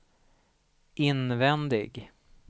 invändig